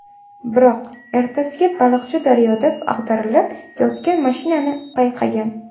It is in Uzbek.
Biroq ertasiga baliqchi daryoda ag‘darilib yotgan mashinani payqagan.